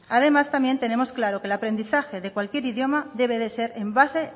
además también tenemos claro que el aprendizaje de cualquier idioma debe ser en base